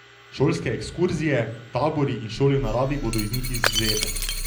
Šolske ekskurzije, tabori in šole v naravi bodo iz njih izvzete.